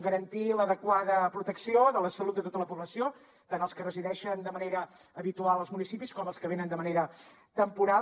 garantir l’adequada protecció de la salut de tota la població tant els que resideixen de manera habitual als municipis com els que venen de manera temporal